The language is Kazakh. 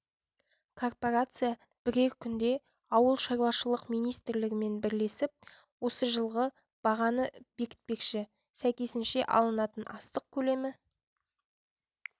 корпорация бірер күнде ауыл шаруашылық министрлігімен бірлесіп осы жылғы бағаны бекітпекші сәйкесінше алынатын астық көлемі